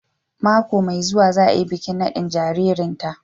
Mako mai zuwa za a yi bikin nadin jaririnta